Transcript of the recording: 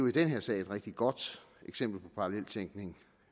i den her sag et rigtig godt eksempel på paralleltænkning